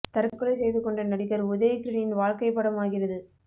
தற்கொலை செய்து கொண்ட நடிகர் உதய் கிரணின் வாழ்க்கை படம் ஆகிறது